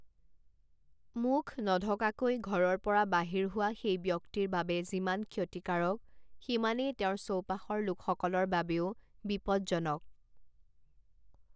মুখ নঢকাকৈ ঘৰৰ পৰা বাহিৰ হোৱা সেই ব্যক্তিৰ বাবে যিমান ক্ষতিকাৰক, সিমানেই তেওঁৰ চৌপাশৰ লোকসকলৰ বাবেও বিপজ্জনক।